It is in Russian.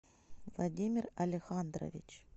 владимир алехандрович